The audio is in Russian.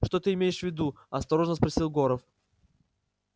что ты имеешь в виду осторожно спросил горов